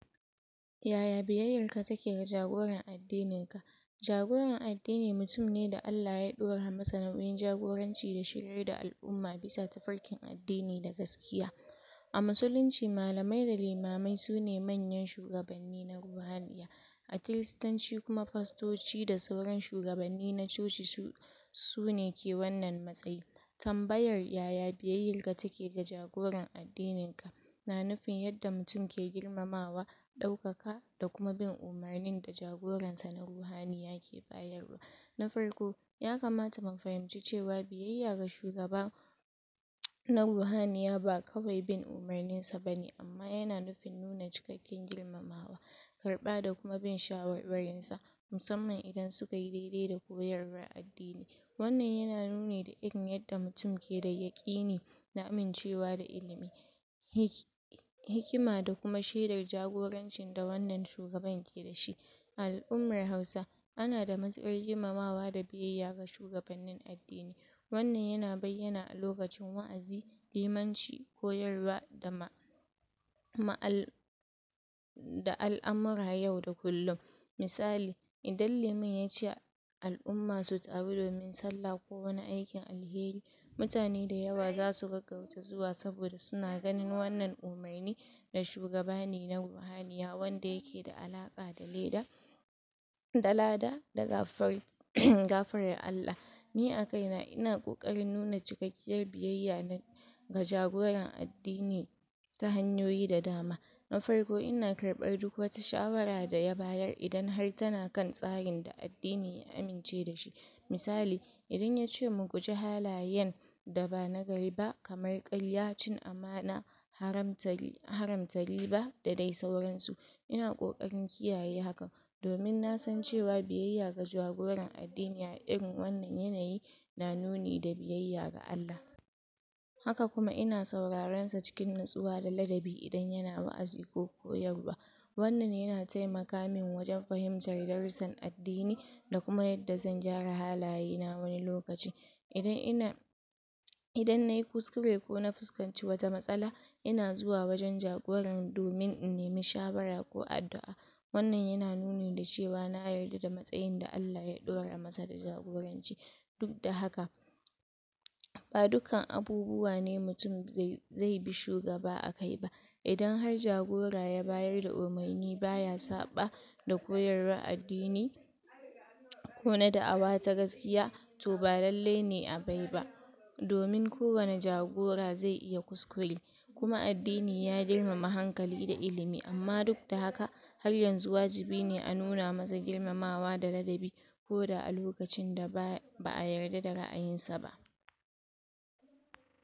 Yaya biyeyar ka take ga jagoran addinin ka? Jagoran addinin mutum ne da Allah ya dora masa nauyin jagoranci da shiryar da al'umma bisa tafarkin addinin da gaskiya. A musulunci malamai da limamai sune manyan shugabanni na ruhaniya. A kiristanci kuma fastoci da sauran shugabanni na coci sune ke wannan matsayi. Tambayar yaya biyeyarka take ga jagoran addinin ka na nufin yadda mutum ke girmamawa da dokaka da kuma bin umarnin da jagoran sa na ruhaniya yake bayarwa. Na farko, ya kamata mu fahimci cewa biyeya ga shugaba na ruhaniya ba kawai bin umarnin sa bane, amma yana nufin nuna cikakken girmamawa, karɓa da kuma bin shawarwarin sa, musamman idan suka yi daidai da koyarwar addini. Wannan yana nuni da irin yadda mutum ke da yakini da amincewa da ilimi, hikima da kuma shedar jagorancin da wannan shugaban ke dashi. A al'ummar hausa ana da matukar girmamawa da biyeya ga shugabannin addini. Wannan yana nuna bayyana a lokacin wa'azi limanci, koyarwa? da al'amuran yau da kullum. Misalin idan liman yace al'umma su tsaru da bin salla ko wani aikin alheri, mutane da yawa zasu gaggauta zuwa saboda suna ganin wannan umarni daga shugaba ne na ruhaniya wanda yake da alaka da? da lada da gafarar Allah. Ni a kaina ina kokarin nuna cikakkiyar biyeya na ga jagorar addini ta hanyoyi da dama. Na farko ina karɓar duk wata shawara da ya bayar da idan har tana kan tsarin da addini ya amince da shi. Misali, idan yace mu guji halayen da ba na gari ba kamar karya, cin amana, haramta giɓa da sauran su. Ina kokarin kiyaye hakan domin nasan cewa biyeya ga jagora addini a irin wannan yanayi na nuni ga biyeya ga Allah. Haka kuma ina sauran sa a cikin natsuwa da ladabi idan yana wa'azi ko koyarwa, wannan yana taimaka min wajan fahimtar darusan addini da kuma yadda zan gyara halaye na wani lokaci. idan ina Idan nayi kuskure ko na fuskanci wata matsala ina zuwa wajan jagoran domin in nemi shawara ko addu'a. Wannan yana nuni da cewa na yarda da matsayi da Allah dora masa da jagoranci. Duk da haka, ba dukkan abubuwa ne mutum zai bi shugaba a kai ba, idan har jagora ya bayar da umarni baya saɓa da koyarwar addini, ko na da'awa ta gaskiya, to ba lallai ne a bai ba, domin ko wane jagora zai iya kuskure, kuma addini ya girmama hankali da ilimi, amma duk da haka har yanzu wajibi ne a nuna masa girmamawa da ladabi koda a lokacin da ba yarda da ra'ayin sa ba.